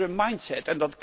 Dat is een andere mindset